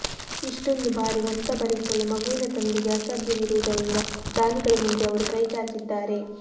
ಇಷ್ಟೊಂದು ಭಾರೀ ಮೊತ್ತ ಭರಿಸಲು ಮಗುವಿನ ತಂದೆಗೆ ಅಸಾಧ್ಯವಿರುವುದರಿಂದ ದಾನಿಗಳ ಮುಂದೆ ಅವರು ಕೈಚಾಚಿದ್ದಾರೆ